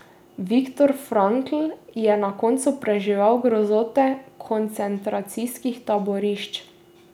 Viktor Frankl je na koncu preživel grozote koncentracijskih taborišč.